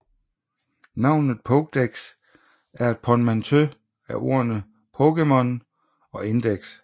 Navnet Pokédex er et portmanteau af ordene Pokémon og Index